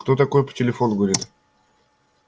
кто такой по телефону говорит